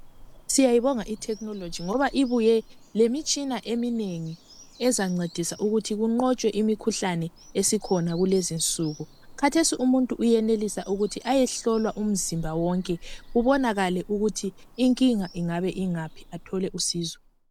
Siyayibonga i"technology" ngoba ibuye lemitshina eminengi ezancedisa ukuthi kunqotshwe imikhuhlane esikhona kulezi insuku. Khathesi uyenelisa umuntu ukuthi ayehlolwa umzimba wonke kubonakale ukuthi inkinga ingabe ingaphi athole usizo.